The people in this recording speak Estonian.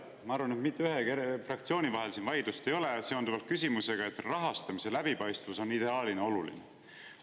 Ma arvan, et mitte mingite fraktsioonide vahel siin vaidlust ei ole seonduvalt küsimusega, et rahastamise läbipaistvus on ideaalina oluline.